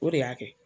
O de y'a kɛ